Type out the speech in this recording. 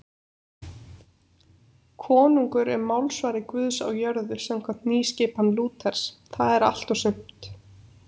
Konungur er málsvari Guðs á jörðu samkvæmt nýskipan Lúters, það er allt og sumt.